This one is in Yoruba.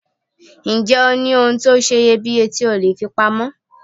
Ǹjẹ́ o ní ohun tó seye bíye tí o leè fi pa mọ́